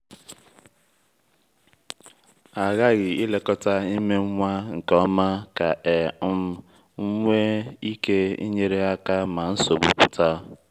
a ghaghị ilekọta ime nwa nke ọma ka e um nwee ike inyere aka ma nsogbu pụta.